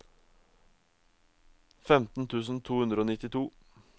femten tusen to hundre og nittito